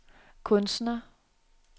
kunstner